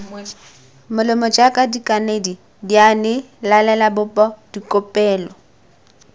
molomo jaaka dikanedi dianelalebopo dikopelo